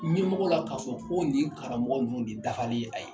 Ɲɛmɔgɔ la k'a fɔ ko nin ye karamɔgɔ ninnu de dafalen ye ayi.